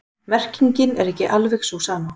Merkingin er ekki alveg sú sama.